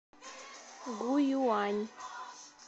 гуюань